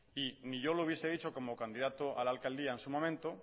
y ni yo lo hubiese dicho como candidato a la alcaldía en su momento